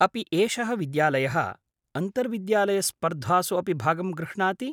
अपि एषः विद्यालयः अन्तर्विद्यालयस्पर्धासु अपि भागं गृह्णाति?